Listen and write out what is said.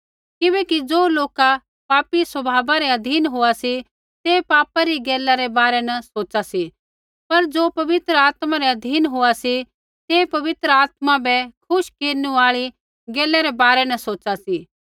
किबैकि ज़ो लोक पापी स्वभावा रै अधीन होआ सी तै पापा री गैला रै बारै न सोचा सी पर ज़ो पवित्र आत्मा रै अधीन होआ सी तै पवित्र आत्मा बै खुश केरनु आल़ी गैला रै बारै न सोचा सी